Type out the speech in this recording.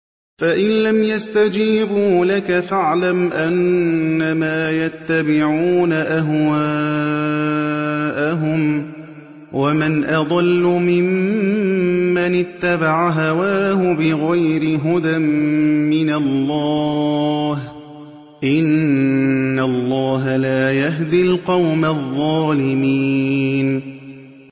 فَإِن لَّمْ يَسْتَجِيبُوا لَكَ فَاعْلَمْ أَنَّمَا يَتَّبِعُونَ أَهْوَاءَهُمْ ۚ وَمَنْ أَضَلُّ مِمَّنِ اتَّبَعَ هَوَاهُ بِغَيْرِ هُدًى مِّنَ اللَّهِ ۚ إِنَّ اللَّهَ لَا يَهْدِي الْقَوْمَ الظَّالِمِينَ